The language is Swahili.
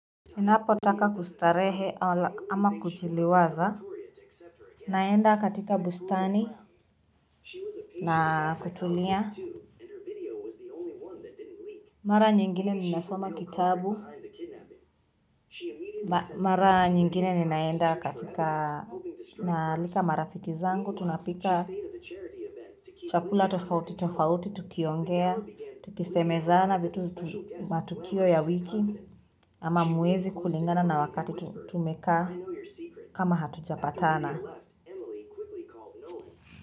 Ninapotaka kustarehe ama kujiliwaza. Naenda katika bustani na kutulia. Mara nyingine ninasoma kitabu. Mara nyingine ninaenda katika, ninaalika marafiki zangu. Tunapika chakula tofauti tofauti. Tukiongea, tukisemezana vitu, matukio ya wiki. Ama mwezi kulingana na wakati tumekaa kama hatujapatana.